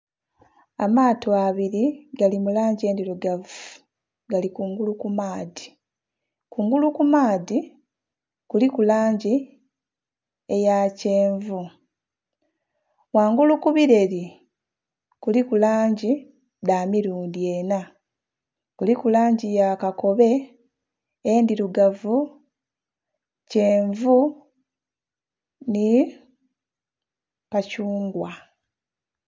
Amato abiri agali mu langi endhirugavu gali kungulu ku maadhi, kungulu ku maadhi kiliku langi eya kyenvu, kungulu ku beleeli kuliku langi dha mirundhi enna kuliku langi ya kakobe, endhirugavu, kyenvu nhi kathungwa.